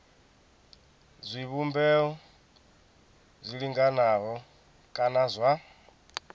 zwivhumbeo zwi linganaho kana zwa